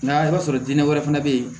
Nga i b'a sɔrɔ denna wɛrɛ fana bɛ yen